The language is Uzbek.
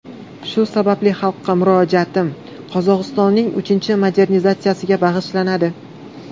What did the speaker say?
Shu sababli xalqqa murojaatim Qozog‘istonning uchinchi modernizatsiyasiga bag‘ishlanadi.